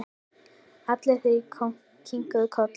Allir þrír kinkuðu kolli.